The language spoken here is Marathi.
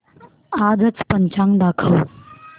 आजचं पंचांग दाखव